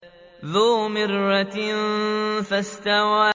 ذُو مِرَّةٍ فَاسْتَوَىٰ